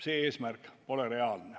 See eesmärk pole reaalne.